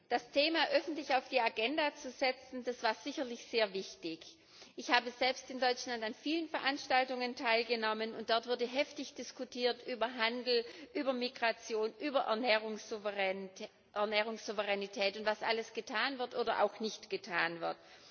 Das Thema öffentlich auf die Agenda zu setzen, war sicherlich sehr wichtig. Ich habe selbst in Deutschland an vielen Veranstaltungen teilgenommen, und dort wurde heftig diskutiert über Handel, über Migration, über Ernährungssouveränität und was alles getan wird oder auch nicht getan wird.